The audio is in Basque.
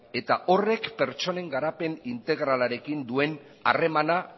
eta horrek pertsonen garapen integralarekin duen harremana